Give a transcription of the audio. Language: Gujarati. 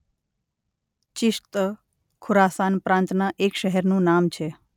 ચિશ્ત ખુરાસાન પ્રાંતના એક શહેરનું નામ છે.